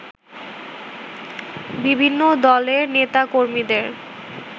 বিভিন্ন দলের নেতাকর্মীদের